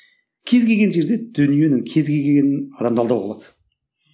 кез келген жерде дүниенің кез келгенін адамды алдауға болады